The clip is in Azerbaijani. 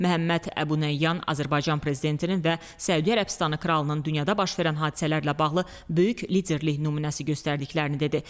Məhəmməd Əbu Nəyyan Azərbaycan Prezidentinin və Səudiyyə Ərəbistanı Krallığının dünyada baş verən hadisələrlə bağlı böyük liderlik nümunəsi göstərdiklərini dedi.